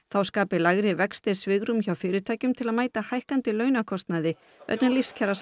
þá skapi lægri vextir svigrúm hjá fyrirtækjum til að mæta hækkandi launakostnaði vegna